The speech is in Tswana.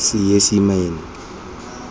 seesimane